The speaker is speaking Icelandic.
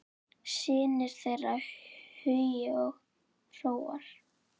Synir þeirra Hugi og Hróar.